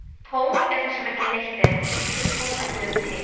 Tóm er þar sem ekki neitt er, og því getur tóm ekki verið til.